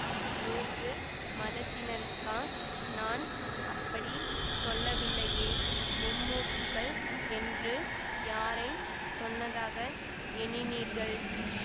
மூன்று மதத்தினருக்கா நான் அப்படி சொல்லவில்லையே மும்மூர்த்திகள் என்று யாரைச் சொன்னதாக எண்ணினீர்கள்